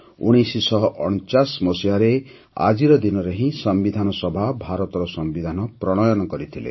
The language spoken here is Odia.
୧୯୪୯ ମସିହାରେ ଆଜିର ଦିନରେ ହିଁ ସମ୍ବିଧାନ ସଭା ଭାରତର ସମ୍ବିଧାନ ପ୍ରଣୟନ କରିଥିଲେ